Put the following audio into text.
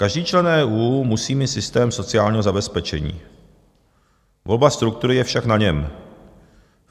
"Každý člen EU musí mít systém sociálního zabezpečení, volba struktury je však na něm.